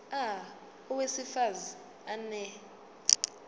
a owesifaz ane